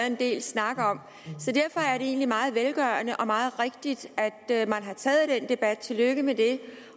en del snak om så derfor er det egentlig meget velgørende og meget rigtigt at man har taget den debat tillykke med det